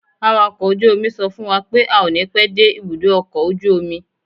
Awàkọ̀ ojú omi sọ fún wa pé a ó ní pẹ́ dé ibùdó ọkọ̀ ojú omi.